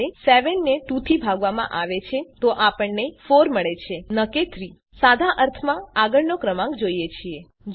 એનો અર્થ એ કે જયારે ૭ ને ૨ થી ભાગવામાં આવે છે તો આપણને ૪ મળે છે ન કે ૩ સાદા અર્થમાં આપણને આગળનો ક્રમાંક જોઈએ છે